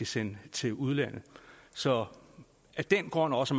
sende til udlandet så af den grund og også